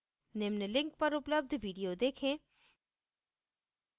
निम्न link पर उपलब्ध video देखें